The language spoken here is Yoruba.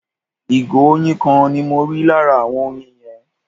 ìgò oyin kan ni mọ rí lára awon oyin yen